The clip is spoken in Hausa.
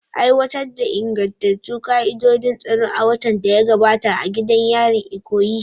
Aiwatar da ingantattun ka'idojin tsaro a watan da ya gabata a gidan yarin Ikoyi.